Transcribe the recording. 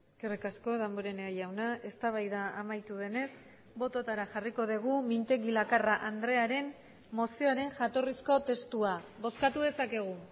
eskerrik asko damborenea jauna eztabaida amaitu denez bototara jarriko dugu mintegi lakarra andrearen mozioaren jatorrizko testua bozkatu dezakegu